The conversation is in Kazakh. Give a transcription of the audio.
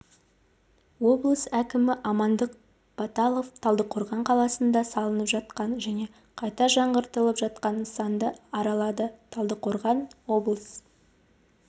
облыс әкімі амандық баталов талдықорған қаласында салынып жатқан және қайта жаңғыртылып жатқан нысанды аралады талдықорған облыс